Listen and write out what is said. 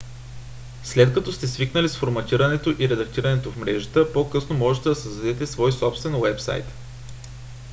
след като сте свикнали с форматирането и редактирането в мрежата по-късно можете да създадете свой собствен уебсайт